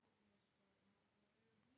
Marías, læstu útidyrunum.